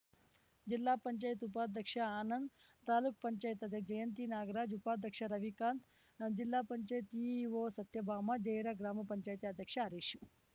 ಜಿಲ್ಲಾ ಪಂಚಾಯತಿ ಉಪಾಧ್ಯಕ್ಷ ಆನಂದ್‌ ತಾಲೂಕು ಪಂಚಾಯತಿ ಅಧ್ಯಕ್ಷೆ ಜಯಂತಿ ನಾಗರಾಜ್‌ ಉಪಾಧ್ಯಕ್ಷ ರವಿಕಾಂತ್‌ ಜಿಲ್ಲಾ ಪಂಚಾಯತಿ ಸಿಇಒ ಸತ್ಯಭಾಮ ಜಯರ ಗ್ರಾಮ ಪಂಚಾಯತಿ ಅಧ್ಯಕ್ಷ ಹರೀಶ್‌